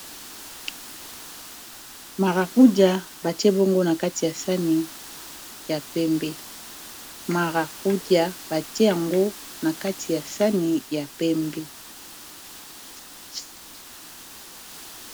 marakuja batie bongo na kati ya sani ya pembe marakuja batie yango na kati ya sani ya pembe